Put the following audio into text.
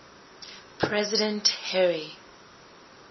president harry